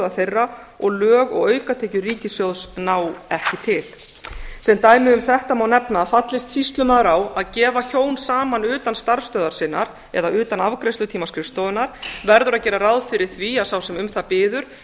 þeirra og lög og aukatekjur ríkissjóðs ná ekki til sem dæmi um þetta má nefna að fallist sýslumaður á að gefa hjón saman utan starfsstöðvar sinnar eða utan afgreiðslutíma skrifstofunnar verður að gera ráð fyrir því að sá sem um það biður